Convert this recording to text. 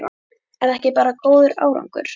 Er það ekki góður árangur bara?